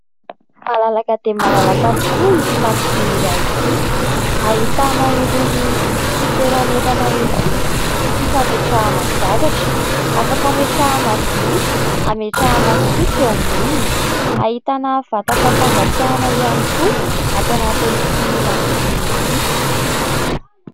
Malalaka dia malalaka tokoa ity lakozia iray ity : ahitana irony fitoeran'entana irony sy fametrahana zavatra, afaka ametrahana vilia, ametrahana sotro eo amboniny. Ahitana vata fampangatsiahana ihany koa ato anatin'ity lakozia ity.